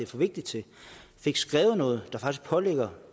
for vigtigt til fik skrevet noget der faktisk pålægger